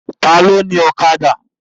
Ta ló ni Ọ̀kadà?